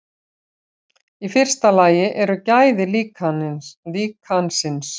í fyrsta lagi eru gæði líkansins